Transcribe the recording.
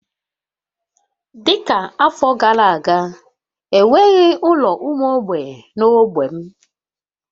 Dị ka afọ gara aga, e nweghị ụlọ ụmụ mgbei na ogbe m